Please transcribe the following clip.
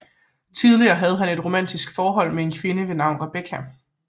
Tidligere havde han et romantisk forhold med en kvinde ved navn Rebecca